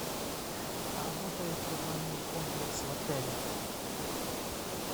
работает ли банный комплекс в отеле